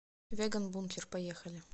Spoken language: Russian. веганбункер поехали